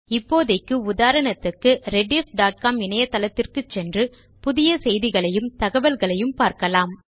இப்போதைக்கு உதாரணத்துக்கு rediffகாம் இணையதளத்திற்கு சென்று புதிய செய்திகளையும் தகவல்களையும் பார்க்கலாம்